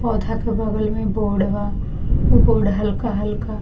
पौधा के बगल में बोर्ड बा उ बोर्ड हल्का-हल्का --